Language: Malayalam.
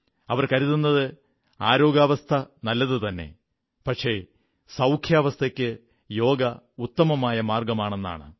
അവർ കരുതുന്നത് ശാരീരികസ്വാസ്ഥ്യം നല്ലതുതന്നെ പക്ഷേ സൌഖ്യാവസ്ഥയ്ക്ക് യോഗ ഉത്തമമായ മാർഗ്ഗമാണെന്നാണ്